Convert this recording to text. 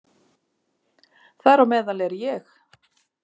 Þar á meðal er ég.